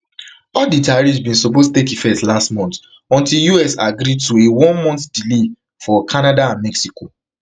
all di tariffs bin suppose take effect last month until us agree to a onemonth delay for canada and mexico